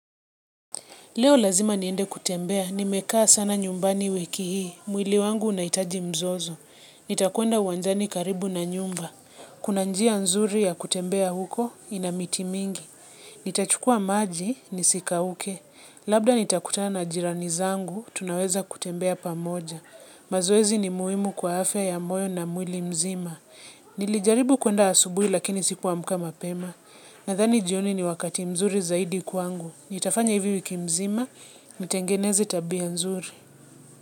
Leo lazima niende kutembea, nimekaa sana nyumbani wiki hii, mwili wangu unahitaji mzozo. Nitakuenda uwanjani karibu na nyumba. Kuna njia nzuri ya kutembea huko, inamiti mingi. Nitachukua maji, nisika uke. Labda nitakutana na jirani zangu, tunaweza kutembea pamoja. Mazoezi ni muhimu kwa afya ya moyo na mwili mzima. Nilijaribu kuenda asubuhi lakini sikuamka mapema. Nadhani jioni ni wakati mzuri zaidi kwangu. Nitafanya hivi wiki mzima, nitengeneze tabia nzuri.